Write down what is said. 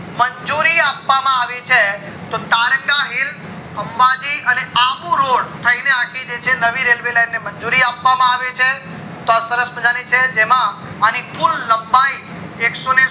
મંજુરી અપવામા આવી છે તારંગા hills અંબાજી અને અબુ road થય ને જે નવી railway line મજુરી આપવામાં આવી છે તો આ સરસ મજાની છે જેમાં અણી કુલ લંબાઈ એકસોને